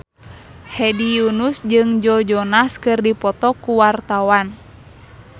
Hedi Yunus jeung Joe Jonas keur dipoto ku wartawan